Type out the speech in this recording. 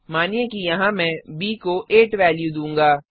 मानिए कि यहाँ मैं ब को 8 वेल्यू दूँगा